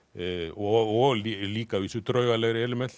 og og að líka að vísu draugalegri element